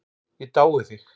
Ég dái þig.